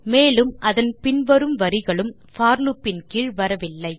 மேலும் அதன் பின் வரும் வரிகளும் போர் லூப் இன் கீழ் வரவில்லை